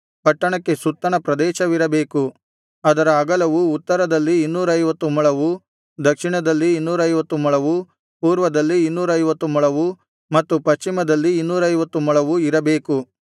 ಪಟ್ಟಣಕ್ಕೆ ಸುತ್ತಣ ಪ್ರದೇಶವಿರಬೇಕು ಅದರ ಅಗಲವು ಉತ್ತರದಲ್ಲಿ ಇನ್ನೂರೈವತ್ತು ಮೊಳವು ದಕ್ಷಿಣದಲ್ಲಿ ಇನ್ನೂರೈವತ್ತು ಮೊಳವು ಪೂರ್ವದಲ್ಲಿ ಇನ್ನೂರೈವತ್ತು ಮೊಳವು ಮತ್ತು ಪಶ್ಚಿಮದಲ್ಲಿ ಇನ್ನೂರೈವತ್ತು ಮೊಳವು ಇರಬೇಕು